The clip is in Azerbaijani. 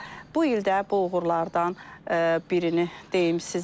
Bu il də bu uğurlardan birini deyim sizə.